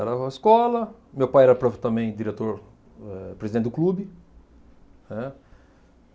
Era escola, meu pai era pro também diretor, eh, presidente do clube, né.